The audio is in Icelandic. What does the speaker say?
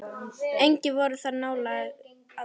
Engir voru þar nálægir aðrir.